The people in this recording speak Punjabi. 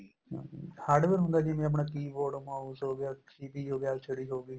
hardware ਹੁੰਦਾ ਜਿਵੇਂ ਆਪਣਾ keyboard mouse ਹੋ ਗਿਆ CPU ਹੋ ਗਿਆ LCD ਹੋ ਗਈ